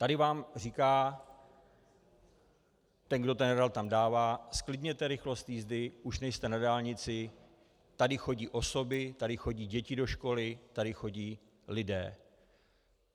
Tady vám říká ten, kdo ten radar tam dává: Zklidněte rychlost jízdy, už nejste na dálnici, tady chodí osoby, tady chodí děti do školy, tady chodí lidé.